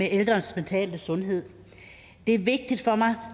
ældres mentale sundhed det er vigtigt for mig